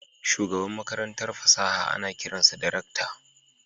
Shugaban Makarantar fasaha ana kiran sa da rakta